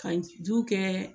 Ka ju kɛ